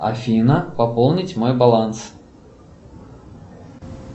афина пополнить мой баланс